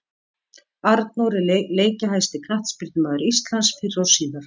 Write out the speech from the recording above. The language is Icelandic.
Arnór er leikjahæsti knattspyrnumaður Íslands fyrr og síðar.